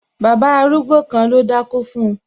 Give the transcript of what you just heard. Bàbá arúgbó kan ló dákó fun